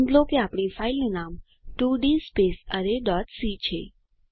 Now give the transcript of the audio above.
નોંધ લો કે આપણી ફાઈલનું નામ 2d arrayસી છે